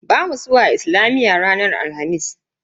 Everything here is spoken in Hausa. Bamu zuwa islamiyya duk ranar Alhamis.